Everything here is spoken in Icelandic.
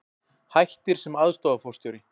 Hættir sem aðstoðarforstjóri